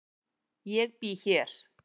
Ég bý hér.